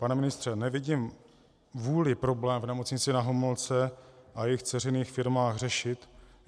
Pane ministře, nevidím vůli problém v Nemocnici Na Homolce a jejích dceřiných firmách řešit.